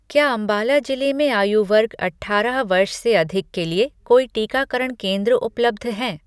क्या अंबाला जिले में आयु वर्ग अठारह वर्ष से अधिक के लिए कोई टीकाकरण केंद्र उपलब्ध हैं?